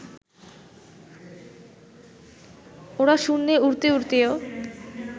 ওরা শূন্যে উড়তে উড়তেও